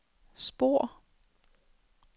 spor